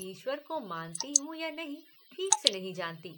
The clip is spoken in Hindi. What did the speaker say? ईश्वर को मानती हूं या नहीं ठीक से नहीं जानती